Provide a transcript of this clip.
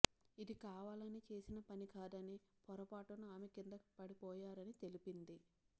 ఇది కావాలని చేసిన పని కాదని పొరపాటున ఆమె కింద పడిపోయారని తెలిపింది